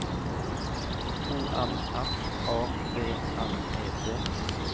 O M F A V N E T